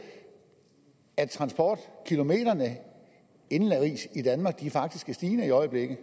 at antallet af transportkilometer indenrigs faktisk er stigende i øjeblikket